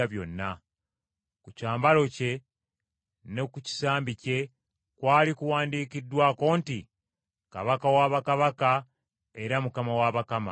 Ku kyambalo kye ne ku kisambi kye kwali kuwandiikiddwako nti: “Kabaka wa Bakabaka era Mukama wa bakama.”